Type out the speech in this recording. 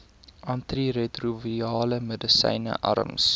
antiretrovirale medisyne arms